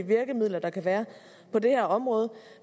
virkemidler der kan være på det her område